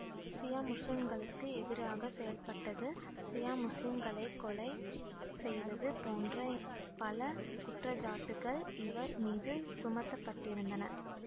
சியா முஸ்லிம்களுக்கு எதிராக செயல்பட்டது சியா முஸ்லிம்களைக் கொலை செய்தது போன்ற பல குற்றச்சாட்டுக்கள் இவர் மீது சுமத்த பட்டிருந்தன